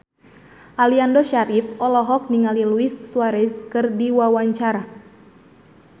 Aliando Syarif olohok ningali Luis Suarez keur diwawancara